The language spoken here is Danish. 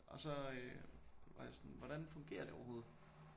Og så øh var jeg sådan hvordan fungerer et overhovedet?